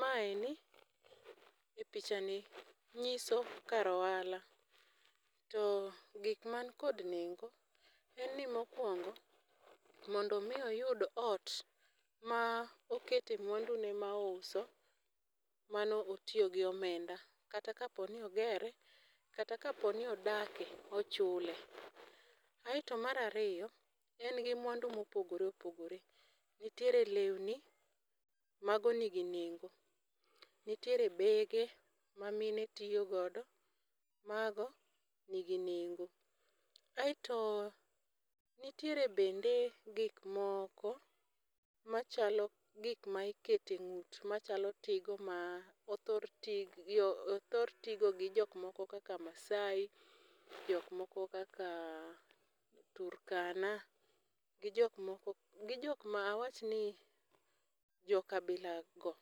Maeni gi picha ni ng'iso kar ohala, to gik man kod nengo en ni mokwongo mondo mi oyudo ot ma okete mwando ne mouso, mano otiyo gi omenda. Kata kapo ni ogere kata kaponi odake ochule. Aeto marariyo, en gi mwandu mopogore opogore, nitiere lewni mago nigi nengo. Nitiere bege ma mine tiyo godo, mago nigi nengo. Aeto nitiere bende gik moko machalo gikma ikete ng'ut machalo tigo ma othor tigo othor tigo gi jok moko kaka Maasai, jok moko kaka Turkana. Gi jok moko, gi jok ma awachni joka bila go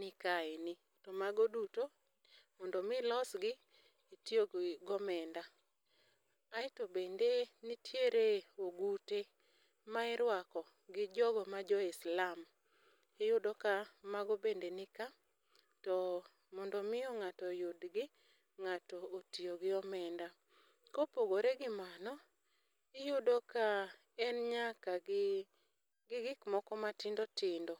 nikaeni. To mago duto mondo mi ilosgi, itiyo gomenda. Aeto bende nitiere ogute ma irwako gi jogo ma jo Islam, iyudo ka mago bende ni ka. To mondo miyo ng'ato yudgi, ng'ato otiyo gi omenda. Kopogore gi mano, iyudo ka en nyaka gi, gi gik moko ma tindo tindo.